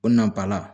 O na ba la